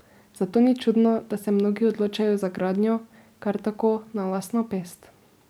Zato ni čudno, da se mnogi odločajo za gradnjo kar tako na lastno pest.